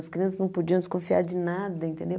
As crianças não podiam desconfiar de nada, entendeu?